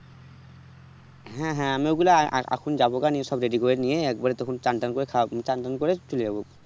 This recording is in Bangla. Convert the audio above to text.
হ্যাঁ হ্যাঁ আমি ওগুলা আএখন জাবোগা নিয়ে সব ready করে নিয়ে একবারে তখন চান টান খাওচান টান করে চলে যাবো